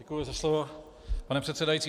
Děkuji za slovo, pane předsedající.